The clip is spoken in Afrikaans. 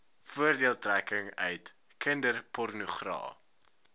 voordeeltrekking uit kinderpornogra